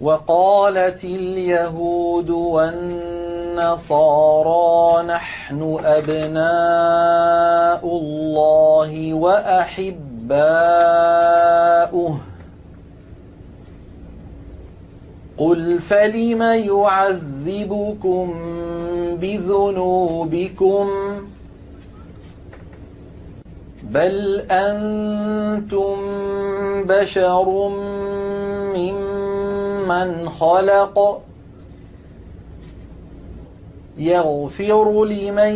وَقَالَتِ الْيَهُودُ وَالنَّصَارَىٰ نَحْنُ أَبْنَاءُ اللَّهِ وَأَحِبَّاؤُهُ ۚ قُلْ فَلِمَ يُعَذِّبُكُم بِذُنُوبِكُم ۖ بَلْ أَنتُم بَشَرٌ مِّمَّنْ خَلَقَ ۚ يَغْفِرُ لِمَن